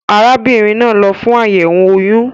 Arábínrin naa n lo fún àyèwò oyún